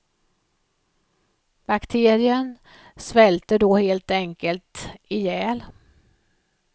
Bakterien svälter då helt enkelt ihjäl.